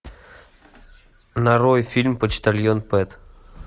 нарой фильм почтальон пэт